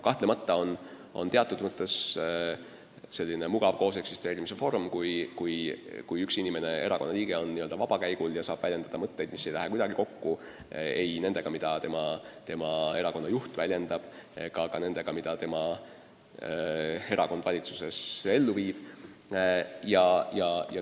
Kahtlemata on see teatud mõttes selline mugav kooseksisteerimise vorm, kui üks inimene, erakonnaliige on n-ö vabakäigul ja saab väljendada mõtteid, mis ei lähe kuidagi kokku ei nendega, mida tema erakonna juht väljendab, ega ka nendega, mida tema erakond valitsuses ellu viib.